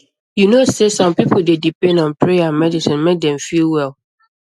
you know sey some people dey depend on prayer and medicine make dem feel well